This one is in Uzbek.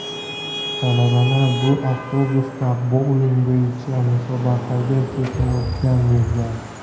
Talabalar bu avtobusda bouling bo‘yicha musobaqaga ketayotgan bo‘lgan.